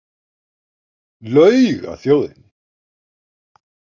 Laug að þjóðinni